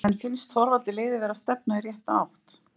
En finnst Þorvaldi liðið vera að stefna í rétta átt?